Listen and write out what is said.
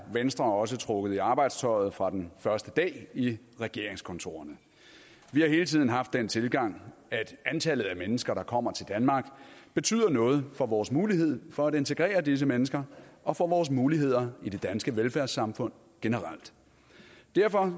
venstre også trukket i arbejdstøjet fra den første dag i regeringskontorerne vi har hele tiden haft den tilgang at antallet af mennesker der kommer til danmark betyder noget for vores mulighed for at integrere disse mennesker og for vores muligheder i det danske velfærdssamfund generelt derfor